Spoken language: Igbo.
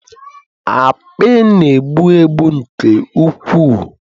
akpị na-egbu egbu nke ukwuu